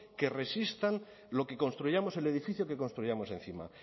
que resistan lo que construyamos el edificio que construyamos encima